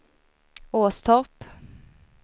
Åstorp